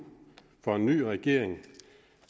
for en ny regering